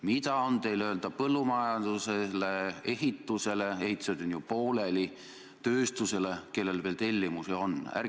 Mida on teil öelda põllumajandusele, ehitusele – ehitused on ju pooleli –, tööstusele, kellel veel tellimusi on?